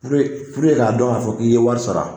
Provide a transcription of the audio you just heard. Purike purike k'a dɔn k'a fɔ k'i ye wari sara.